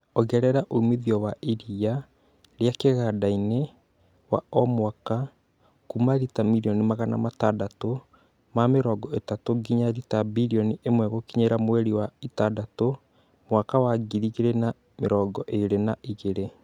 Ongerera umithio wa iriia rĩa kĩganda-inĩ wa o mwaka kuuma rita mirioni Magana matandatũ ma mĩrongo ĩtatũ nginya rita birioni ĩmwe gũkinyĩria mweri wa ĩtandatũ mwaka wa ngiri igĩrĩ na mĩrongo ĩri na igĩrĩ